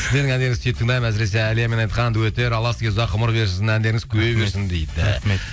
сіздердің әндеріңізді сүйіп тыңдаймын әсіресе әлиямен айтқан дуэттер алла сізге ұзақ ғұмыр берсін әндеріңіз көбейе берсін